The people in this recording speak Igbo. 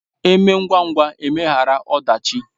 Eme ngwa ngwa emeghara ọdachi